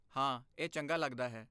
ਹਾਂ, ਇਹ ਚੰਗਾ ਲੱਗਦਾ ਹੈ।